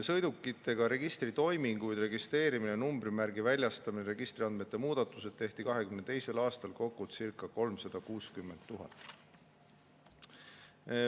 Sõidukitega registritoiminguid, nagu registreerimine, numbrimärgi väljastamine ja registriandmete muudatused, tehti 2022. aastal kokku circa 360 000.